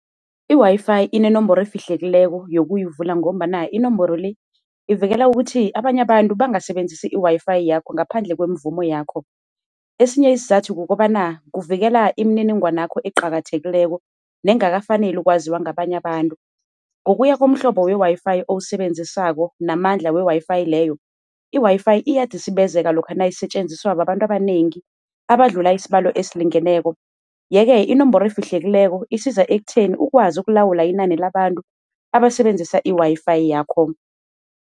I-WiFi inenomboro efihlekileko yokuyivula ngombana inomboro-le, ivikela ukuthi abanye abantu bangasebenzisi i-WiFi yakho ngaphandle kweemvumo yawakho. Esinye isizathu kukobana kuvikela imininingwana yakho eqakathekileko nengakafaneli ukwaziwa ngabanye abantu. Ngokuya komhlobo we-WiFi owusebenzisako namandla we-WiFi leyo, i-WiFi iyadisibezeka lokha nayisetjenziswa babantu abanengi abadlula isibalo esilingeneko. Yeke inomboro efihlekileko isiza ekutheni ukwazi ukulawula inani labantu abasebenzisa i-WiFi yakho.